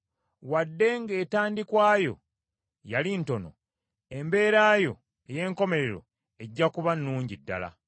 Wadde ng’entandikwa yo yali ntono, embeera yo ey’enkomerero ejja kuba nnungi ddala.